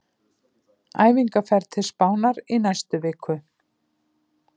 Æfingaferð til Spánar í næstu viku.